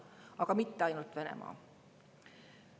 Aga mitte ainult Venemaa.